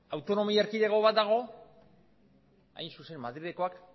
autonomi erkidego bat dago hain zuzen madrilekoak